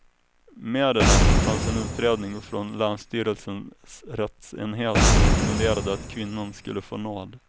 Med i den fanns en utredning från länsstyrelsens rättsenhet som rekommenderade att kvinnan skulle få nåd.